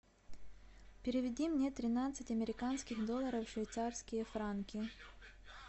переведи мне тринадцать американских долларов в швейцарские франки